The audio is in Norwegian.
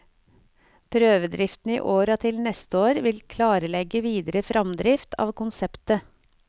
Prøvedriften i år og til neste år vil klarlegge videre fremdrift av konseptet.